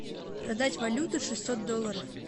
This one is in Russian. продать валюту шестьсот долларов